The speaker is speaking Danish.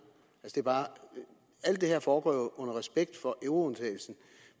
alt det her foregår jo respekt for euroundtagelsen